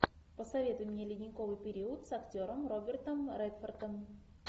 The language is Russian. посоветуй мне ледниковый период с актером робертом редфордом